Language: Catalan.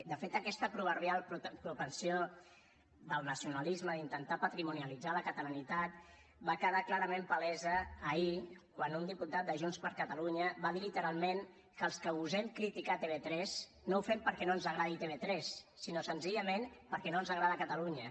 de fet aquesta proverbial propensió del nacionalisme d’intentar patrimonialitzar la catalanitat va quedar clarament palesa ahir quan un diputat de junts per catalunya va dir literalment que els que gosem criticar tv3 no ho fem perquè no ens agradi tv3 sinó senzillament perquè no ens agrada catalunya